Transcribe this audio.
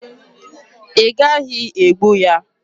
Ị gaghị egbu ya!